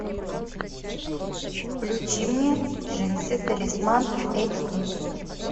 включи мне джинсы талисман эйч ди